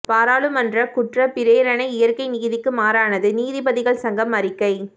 பாராளுமன்ற குற்றப் பிரேரணை இயற்கை நீதிக்கு மாறானது நீதிபதிகள் சங்கம் அறிக்கை